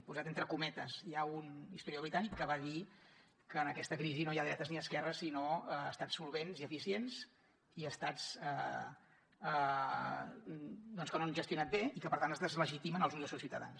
posat entre cometes hi ha un historiador britànic que va dir que en aquesta crisi no hi ha dretes ni esquerres sinó estats solvents i eficients i estats doncs que no han gestionat bé i que per tant es deslegitimen als ulls dels seus ciutadans